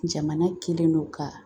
Jamana kɛlen don ka